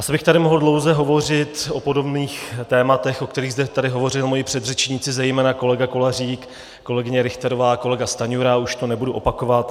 Asi bych tady mohl dlouze hovořit o podobných tématech, o kterých zde tady hovořili moji předřečníci, zejména kolega Kolařík, kolegyně Richterová, kolega Stanjura, už to nebudu opakovat.